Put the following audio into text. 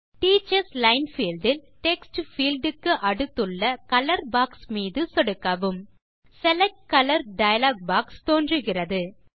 teachers line fieldஇல் text field க்கு அடுத்துள்ள கலர் பாக்ஸ் மீது சொடுக்கவும் select கலர் டயலாக் பாக்ஸ் தெரிகிறது